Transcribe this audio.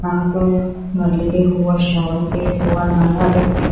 ಹಾಗು ಮಲ್ಲಿಗೆ ಹೂವು ಶಾವಂತಿ ಹೂವು ನಾನಾ ರೀತಿಯ--